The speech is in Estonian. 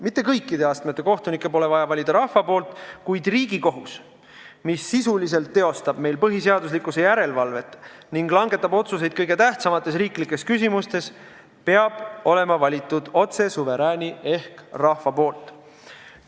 Mitte kõikide astmete kohtunikke ei pea valima rahvas, kuid Riigikohus, mis sisuliselt teostab põhiseaduslikkuse järelevalvet ning langetab otsuseid kõige tähtsamates riiklikes küsimustes, peab olema valitud otse suverääni ehk rahva poolt.